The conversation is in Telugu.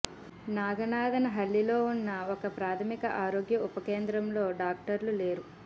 నాగనాథన హళ్లిలో ఉన్న ఒక ప్రాథమిక ఆరోగ్య ఉప కేంద్రంలో డాక్టర్లు లేరు